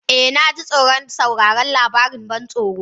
Eh, na ji tsoron sauraron labarin ban tsoro.